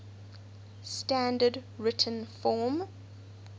standard written form